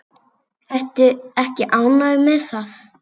Ertu ekki ánægð með það?